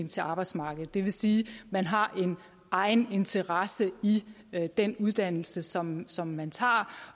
til arbejdsmarkedet det vil sige at man har en egen interesse i den uddannelse som som man tager